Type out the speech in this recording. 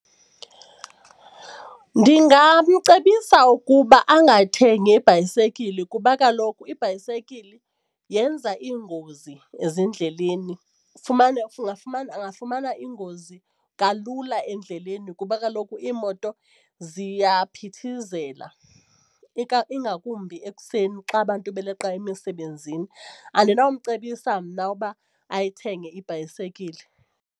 Ndingamcebisa ukuba angathengi ibhayisekile kuba kaloku ibhayisikili yenza iingozi ezindleleni ufumane angafumana ingozi kalula endleleni ngoba kaloku iimoto ziyaphithizela, ingakumbi ekuseni xa abantu beleqa emisebenzini andinawumcebisa mna uba ayithenge ibhayisekile.